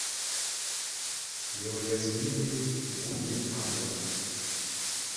неуязвимый вуди аллена